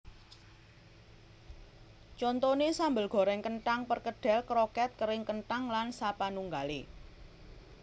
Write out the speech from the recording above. Contoné sambel gorèng kenthang perkedel kroket kering kenthang lan sapanunggalé